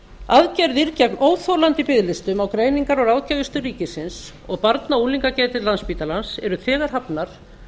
aðgerðir gegn óþolandi biðlistum á greiningar og ráðgjafarstöð ríkisins og barna og unglingageðdeild landspítalans eru þegar hafnar